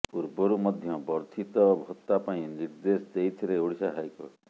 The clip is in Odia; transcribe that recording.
ପୂର୍ବରୁ ମଧ୍ୟ ବର୍ଦ୍ଧିତ ଭତ୍ତା ପାଇଁ ନିର୍ଦ୍ଦେଶ ଦେଇଥିଲେ ଓଡ଼ିଶା ହାଇକୋର୍ଟ